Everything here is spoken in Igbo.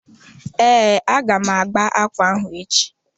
Ee, a ga m agba ákwà ahụ echi.